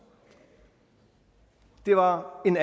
det var min